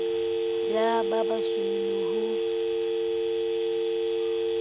ya ba basweu le ho